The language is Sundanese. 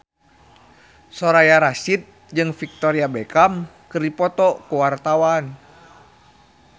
Soraya Rasyid jeung Victoria Beckham keur dipoto ku wartawan